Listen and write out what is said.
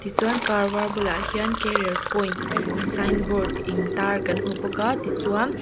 chuan car var bulah hian career point signboard intar kan hmu bawk a tichuan--